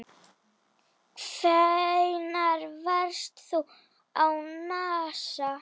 Hvenær varst þú á NASA?